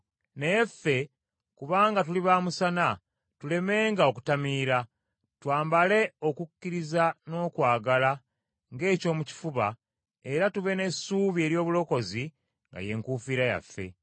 Naye ffe, kubanga tuli ba musana, tulemenga okutamiira. Twambale okukkiriza n’okwagala ng’ekyomu kifuba, era tube n’essuubi ery’obulokozi nga ye nkufiira yaffe.